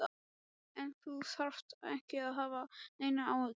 En þú þarft ekki að hafa neinar áhyggjur.